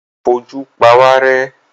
Ó ń fojú pawárẹ́.